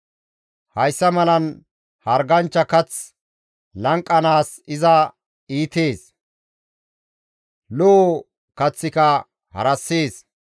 Hayssa malan harganchcha kath lanqanaas iza iitees; lo7o kaththika harassees.